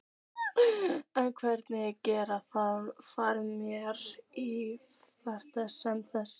En hverjir geta farið með í ferð sem þessa?